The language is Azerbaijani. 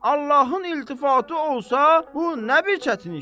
Allahın iltifatı olsa, bu nə bir çətin işdir?